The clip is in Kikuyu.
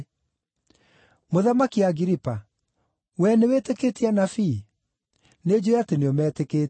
Mũthamaki Agiripa, wee nĩwĩtĩkĩtie anabii? Nĩnjũũĩ atĩ nĩũmetĩkĩtie.”